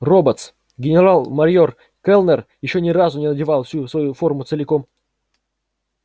роботс генерал-майор кэллнер ещё ни разу не надевал всю свою форму целиком